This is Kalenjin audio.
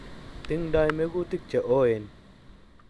Tingdoi mekutik che ooen